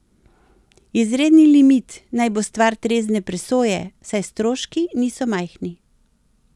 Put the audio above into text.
Izredni limit naj bo stvar trezne presoje, saj stroški niso majhni.